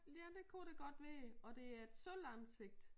Ja det kunne det godt være og det er et sølvansigt